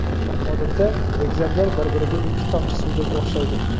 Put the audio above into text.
Odatda, egizaklar bir-biriga ikki tomchi suvdek o‘xshaydi.